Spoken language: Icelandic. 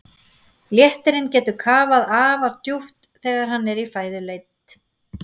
Léttirinn getur kafað afar djúpt þegar hann er í fæðuleit.